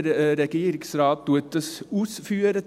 Der Regierungsrat führt dies aus.